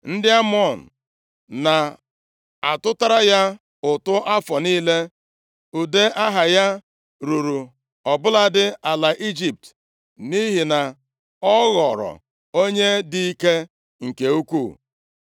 Ndị Amọn na-atụtara ya ụtụ afọ niile, ude aha ya ruru ọ bụladị ala Ijipt nʼihi na ọ ghọrọ onye dị ike nke ukwuu.